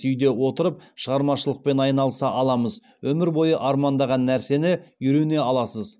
үйде отырып шығармашылықпен айналыса аламыз өмір бойы армандаған нәрсені үйрене аласыз